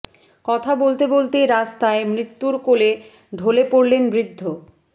কথা বলতে বলতেই রাস্তায় মৃত্যুর কোলে ঢলে পড়লেন বৃদ্ধ